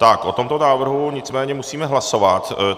Tak o tomto návrhu nicméně musíme hlasovat.